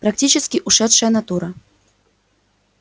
практически ушедшая натура